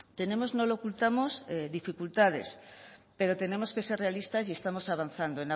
tenemos no lo ocultamos dificultades pero tenemos que ser realistas y estamos avanzando